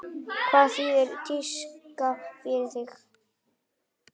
Hvað þýðir tíska fyrir þig?